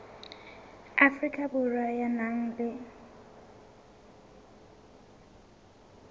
afrika borwa ya nang le